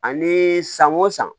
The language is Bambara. Ani san o san